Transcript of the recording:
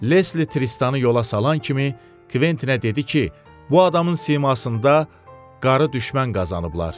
Lesli Tristanı yola salan kimi Kventinə dedi ki, bu adamın simasında qarı düşmən qazanıblar.